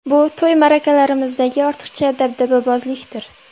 Bu to‘y-ma’rakalarimizdagi ortiqcha dabdababozlikdir.